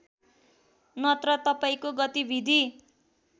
नत्र तपाईँको गतिविधि